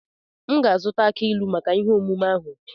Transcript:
M ga azụta aki ilu maka ihe emume ahu.